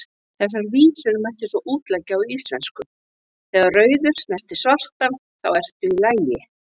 Þessar vísur mætti svo útleggja á íslensku: Þegar rauður snertir svartan, þá ertu í lagi,